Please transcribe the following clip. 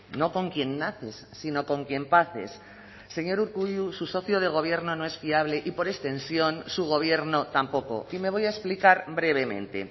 no con quien naces sino con quien paces señor urkullu su socio de gobierno no es fiable y por extensión su gobierno tampoco y me voy a explicar brevemente